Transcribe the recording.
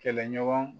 Kɛlɛɲɔgɔn